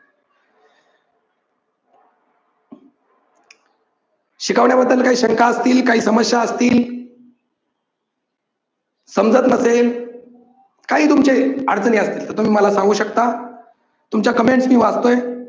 शिकवण्या बद्दल काही शंका असतील, काही समस्या असतील, समजत नसेल, काही तुमचे अडचणी असतील तर तुम्ही मला सांगू शकता. तुमच्या comments मी वाचतोय